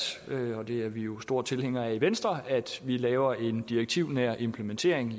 og det er vi jo store tilhængere af i venstre at vi laver en direktivnær implementering